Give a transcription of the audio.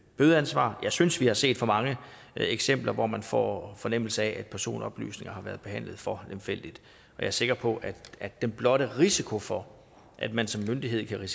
bødeansvar jeg synes vi har set for mange eksempler hvor man får fornemmelse af at personoplysninger har været behandlet for lemfældigt og jeg er sikker på at den blotte risiko for at man som myndighed kan